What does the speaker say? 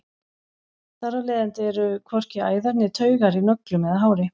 þar af leiðandi eru hvorki æðar né taugar í nöglum eða hári